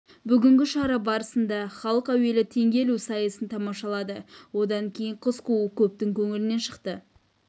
бүгінгі шара барысында халық әуелі теңге ілу сайысын тамашалады одан кейін қыз қуу көптің көңілінен шықты